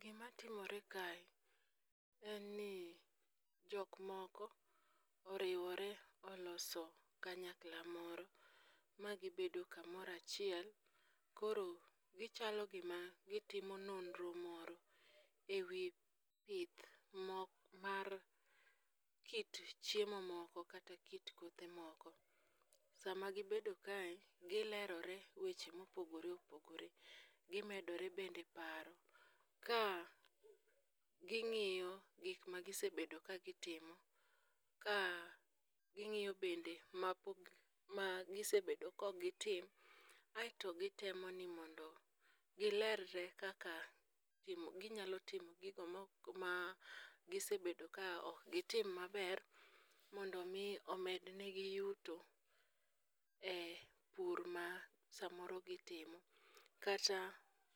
Gimatimore kae en ni jok moko oriwore oloso kanyakla moro ma gibedo kamoro achiel, koro chalo gima gitimo nonro moro e wi pith mar kit chiemo moko kata kit kothe moko. Sama gibedo kae, gilerore weche mopogore opogore, gimedore bende paro ka ging'iyo gik magisebedo ka gitimo ka ging'iyo bende ma gisebedo kok gitim, aeto gitemo ni mondo gilerre kaka ginyalo timo gigo ma gisebedo ka ok gitim maber mondo omi omednegi yuto e pur ma samoro gitimo kata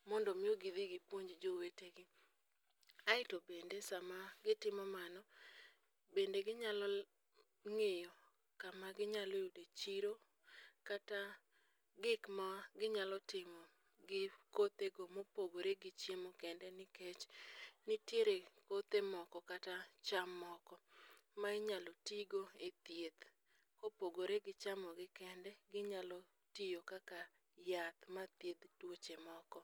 mondo omi gidhi gipuonj jowetegi ,aeto bende sama gitimo mano, bende ginyalo ng'iyo kama ginyalo yude chiro kata gik ma ginyalo timo gi kothego mopogore gi chiemo kende nikech nitie kothe moko kata cham moko ma inyalo tigo e thieth, kopogore gi chamogi kende, ginyalo tiyo kaka yath mathiedh tuoche moko.